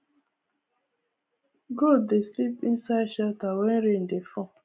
goat dey sleep inside shelter when rain dey fall